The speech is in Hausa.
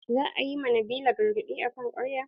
Za a yi ma nabila gargaɗi akan ƙarya.